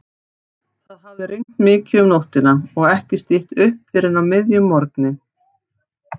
Það hafði rignt mikið um nóttina og ekki stytt upp fyrr en á miðjum morgni.